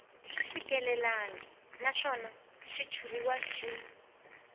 swi fikelelangi naswona xitshuriwa xi